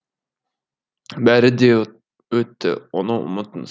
бәрі де өтті оны ұмытыңыз